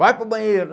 Vai para o banheiro.